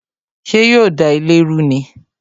Ṣé yo da ilé ru ni?